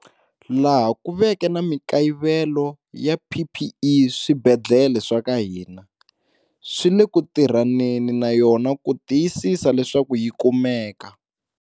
Laha ku veke na mikayivelo ya PPE swibedhlele swa ka hina swi le ku tirhaneni na yona ku tiyisisa leswaku yi kumeka.